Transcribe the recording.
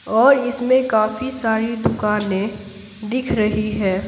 और इसमें काफी सारी दुकानें दिख रही है।